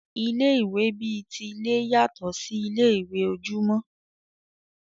Ilé ìwé bi ti ilé yàtọ sí ilé ìwé ojúmọ́.